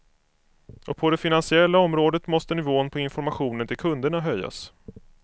Och på det finansiella området måste nivån på informationen till kunderna höjas.